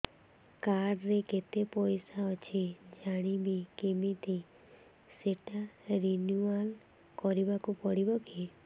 card ରେ କେତେ ପଇସା ଅଛି ଜାଣିବି କିମିତି ସେଟା ରିନୁଆଲ କରିବାକୁ ପଡ଼ିବ କି